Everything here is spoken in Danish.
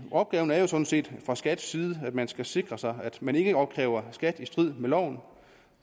opgaven er sådan set fra skats side at man skal sikre sig at man ikke opkræver skat i strid med loven